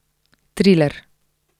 Triler.